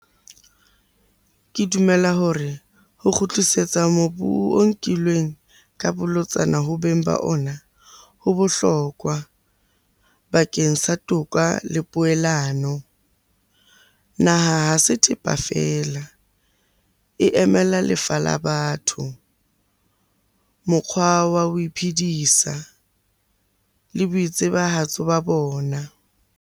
Ke dumela hore ho kgutlisetsa mobu o nkilweng ka bolotsana ho beng ba ona, ho bohlokwa bakeng sa toka le poelano. Naha ha se thepa feela, e emela lefa la batho, mokgwa wa ho iphidisa le boitsebahatso ba bona.